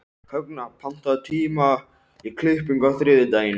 Högna, pantaðu tíma í klippingu á þriðjudaginn.